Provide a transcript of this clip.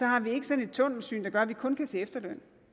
har vi ikke sådan et tunnelsyn der gør at vi kun kan se efterløn